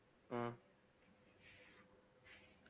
ஹம்